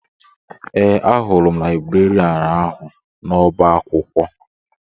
Ee, ahụrụ m laịbrerịan ahụ n'ọba akwụkwọ